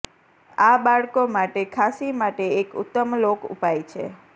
આ બાળકો માટે ખાંસી માટે એક ઉત્તમ લોક ઉપાય છે